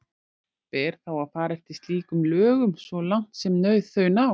Ber þá að fara eftir slíkum lögum svo langt sem þau ná.